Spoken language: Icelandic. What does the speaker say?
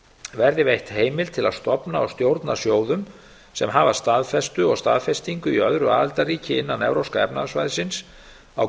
verði veitt heimild til að stofna og stjórna sjóðum sem hafa staðfestu og staðfestingu í öðru aðildarríki innan evrópska efnahagssvæðisins á